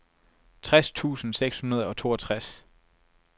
tres tusind seks hundrede og toogtres